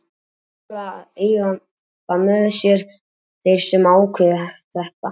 Þeir þurfa að eiga það með sér, þeir sem ákveða þetta.